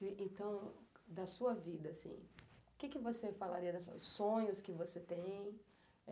Então, da sua vida, assim, o que você falaria da os sonhos que você tem?